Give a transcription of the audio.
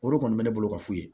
O de kɔni bɛ ne bolo ka f'u ye